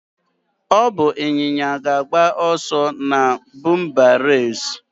Ọ bụ ịnyịnya ga-agba ọsọ na bumper race.